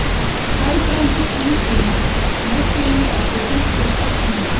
Hagbarður, hringdu í Messíönu eftir fimmtíu og sex mínútur.